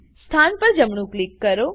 સ્થાન પર જમણું ક્લિક કરો